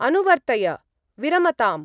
अनुवर्तय, विरमताम्।